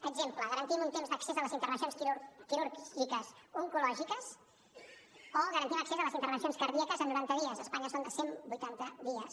exemple garantim un temps d’accés a les intervencions quirúrgiques oncològiques o garantim accés a les intervencions cardíaques en noranta dies a espanya són de cent vuitanta dies